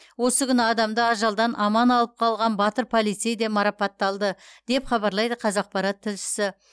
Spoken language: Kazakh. осы күні адамды ажалдан аман алып қалған батыр полицей де марапатталды деп хабарлайды қазақпарат тілшісі